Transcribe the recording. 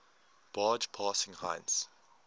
barge passing heinz